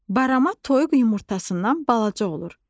Barama toyuq yumurtasından balaca olur.